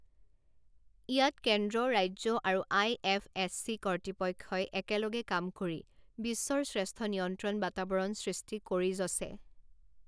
ইয়াত কেন্দ্ৰ, ৰাজ্য আৰু আইএফএছচি কৰ্তৃপক্ষই একেলগে কাম কৰি বিশ্বৰ শ্ৰেষ্ঠ নিয়ন্ত্ৰণ বাতাবৰণ সৃষ্টি কৰিযছে।